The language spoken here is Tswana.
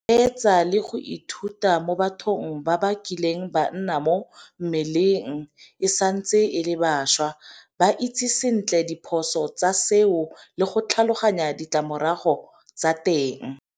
Reetsa le go ithuta mo bathong ba ba kileng ba nna mo mmeleng e santse e le bašwa. Ba itse sentle diphoso tsa seo le go tlhaloganya ditlamorago tsa teng.